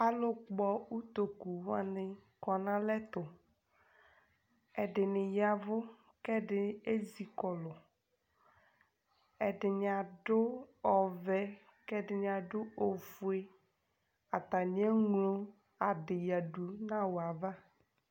alʋkpɔ ʋtokʋwani kɔnalɛtʋ ɛdini yavʋ kɛdi ʒƶikɔlʋ ɛdini adʋ ɔvɛ kɛdini aɖʋ oƒʋe atani ʒŋɣlo aɖiyaɖʋ nawʋava